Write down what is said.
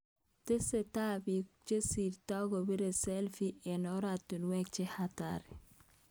Tesasksei biik chesirtoi kobire selfi eng koratinwek che hatari